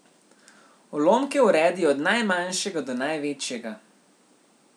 Ulomke uredi od najmanjšega do največjega.